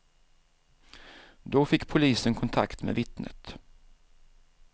Då fick polisen kontakt med vittnet.